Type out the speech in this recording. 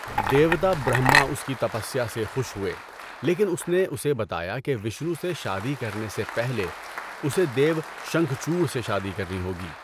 دیوتا برہما اس کی تپسیا سے خوش ہوئے لیکن اس نے اسے بتایا کہ وشنو سے شادی کرنے سے پہلے اسے دیو شنکھچوڈ سے شادی کرنی ہوگی۔